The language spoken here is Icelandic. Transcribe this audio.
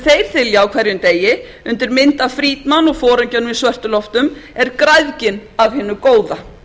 þylja á hverjum degi undir mynd af friedman og foringjanum í svörtu loftum er græðgin af hinu góða